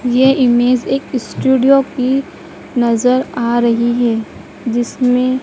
ये इमेज एक स्टूडियो की नजर आ रही है जिसमें--